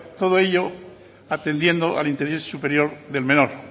todo ello atendiendo al interés superior del menor